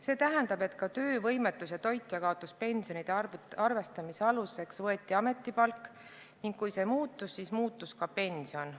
See tähendab, et ka töövõimetus- ja toitjakaotuspensionide arvestamise aluseks võeti ametipalk ning kui see muutus, siis muutus ka pension.